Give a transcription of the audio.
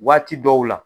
Waati dɔw la